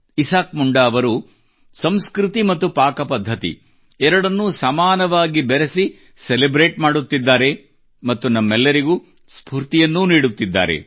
Isaac Munda ಅವರು ಸಂಸ್ಕೃತಿ ಮತ್ತು ಪಾಕಪದ್ಧತಿ ಎರಡನ್ನೂ ಸಮಾನವಾಗಿ ಬೆರೆಸಿ ಸೆಲೆಬ್ರೇಟ್ ಮಾಡುತ್ತಿದ್ದಾರೆ ಮತ್ತು ನಮ್ಮೆಲ್ಲರಿಗೂ ಸ್ಫೂರ್ತಿಯನ್ನೂ ನೀಡುತ್ತಿದ್ದಾರೆ